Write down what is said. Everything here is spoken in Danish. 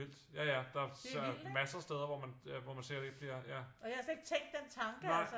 Vildt ja ja der massere steder hvor man ser det ikke bliver ja